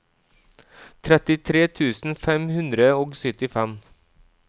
trettitre tusen fem hundre og syttifem